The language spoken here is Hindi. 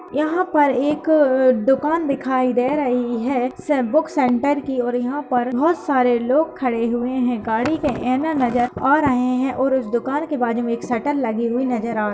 यहाँ पर एक दुकान दिखाई दे रही है। से बुक सेंटर की और यहाँ पर बहुत सारे लोग खड़े हुए हैं। गाड़ी के एनन नजर आ रहे हैं और दुकान के बाजु में एक शटर लगी हुई नजर आ --